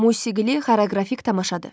Musiqili xoreoqrafik tamaşadır.